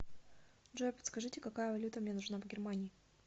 джой подскажите какая валюта мне нужна в германии